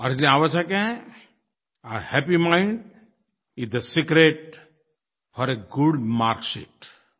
और इसलिये आवश्यक है a happy mind is the secret for a good marksheet